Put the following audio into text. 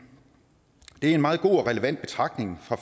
det er en meget god og relevant betragtning